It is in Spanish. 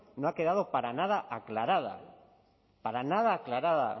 no ha quedado para nada aclarada para nada aclarada